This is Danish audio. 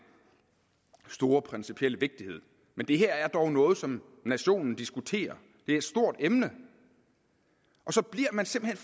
store principielle vigtighed men det her er dog noget som nationen diskuterer det er et stort emne og så bliver man simpelt